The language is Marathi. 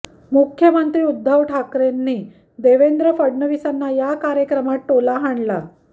मुख्यमंत्री उद्धव ठाकरेंनी देवेंद्र फडणवीसांना या कार्यक्रमात टोला हाणला